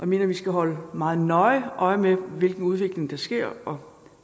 mener at vi skal holde meget nøje øje med hvilken udvikling der sker og